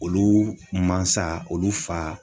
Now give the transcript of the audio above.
Olu mansa, olu fa.